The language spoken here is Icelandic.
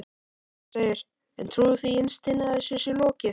Kristján: En trúirðu því innst inni að þessu sé lokið?